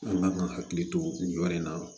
An kan ka hakili to nin yɔrɔ in na